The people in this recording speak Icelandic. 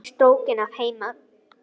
Hún er strokin að heiman.